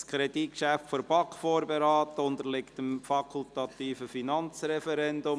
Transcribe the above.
Dieses Kreditgeschäft wurde von der BaK vorberaten und unterliegt dem fakultativen Finanzreferendum.